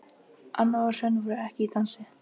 Anna og Hrönn voru ekki í dansi.